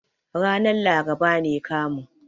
Ranar laraba ne kamun.